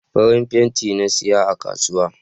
Farin fenti na saya a kasuwa